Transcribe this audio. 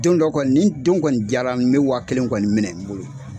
Don dɔ kɔni nin don kɔni diyara n bɛ wa kelen kɔni minɛ n bolo.